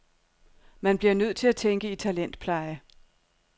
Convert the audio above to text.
Man bliver nødt til at tænke i talentpleje.